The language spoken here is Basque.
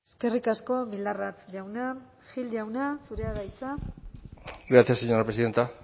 eskerrik asko bildarratz jauna gracias señora presidenta